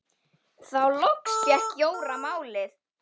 Þá loks fékk Jóra málið.